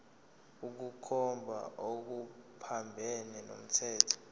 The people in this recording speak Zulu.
ukukhomba okuphambene nomthetho